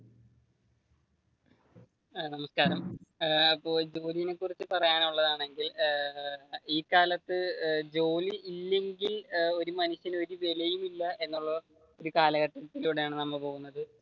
നമസ്ക്കാരം ഏർ ജോലിയിനെ കുറിച്ച് പറയാനുള്ളതാണെങ്കിൽ ഏർ ഈ കാലത്തു ജോലിയില്ലെങ്കിൽ ഒരു മനുഷ്യൻ ഒരു വിലയുമില്ല, എന്നുള്ള ഒരു കാലഘട്ടത്തിലൂടെയാണ് നമ്മൾ പോകുന്നത്.